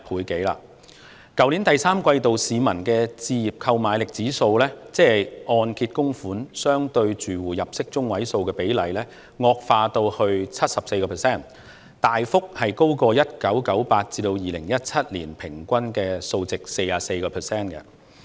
在去年第三季度，市民的置業購買力指數，即按揭供款相對住戶入息中位數的比例，惡化至 74%， 大幅高於1998年至2017年 44% 的平均數。